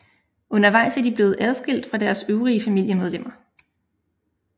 Undervejs er de blevet adskilt fra deres øvrige familiemedlemmer